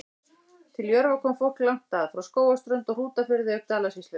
Til Jörfa kom fólk langt að, frá Skógarströnd og Hrútafirði auk Dalasýslu.